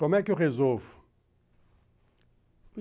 Como é que eu resolvo?